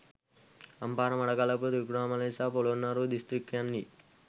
අම්පාර මඩකලපුව ත්‍රිකුණාමලය සහ පොළොන්නරුව දිස්ත්‍රික්කයන්හි